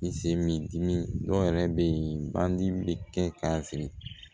I se mi dimi dɔw yɛrɛ bɛ yen badi bɛ kɛ k'a siri